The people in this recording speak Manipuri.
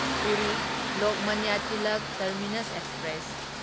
Puri Lokmanya Tilak terminus express